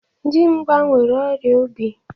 Dimgba nwere ọrịa obi.